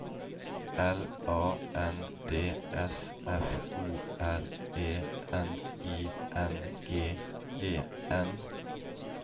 L A N D S F O R E N I N G E N